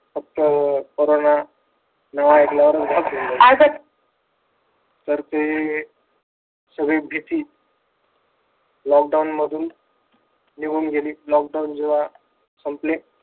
फक्त कोरोना नाव ऐकल्यावर तर ते सगळी भीती लॉकडाऊन मधून निघून गेली. लॉकडाऊन जेव्हा संपले